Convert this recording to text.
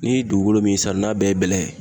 Ni dugukolo be yen sisan n'a bɛɛ ye bɛlɛ ye